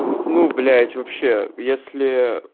ну блять вообще если